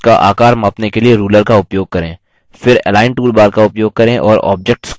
कुछ objects का आकार मापने के लिए ruler का उपयोग करें